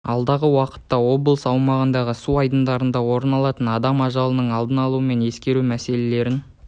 алдағы уақытта облыс аумағындағы су айдындарында орын алатын адам ажалының алдын алу мен ескерту мәселелерін